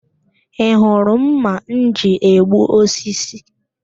Ị hụrụ ḿmà m ji egbu osisi?